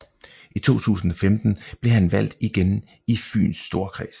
I 2015 blev han valgt igen i Fyns Storkreds